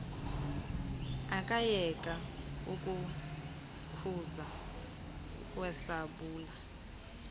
akayeka ukukhuza eshwabula